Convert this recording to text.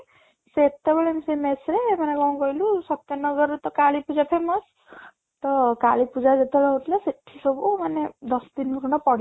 ସେତେବେଳେ ବି ସେ mess ରେ ମାନେ କ'ଣ କହିଲୁ ସତ୍ୟନଗର ରେ ତ କାଳି ପୂଜା famous ତ କାଳୀ ପୂଜା ଯେତେବେଳେ ହଉଥିଲା ସେଠି ସବୁ ମାନେ ଦଶ ଦିନ ଖଣ୍ଡେ